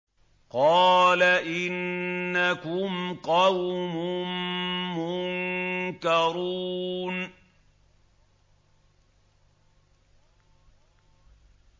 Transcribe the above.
قَالَ إِنَّكُمْ قَوْمٌ مُّنكَرُونَ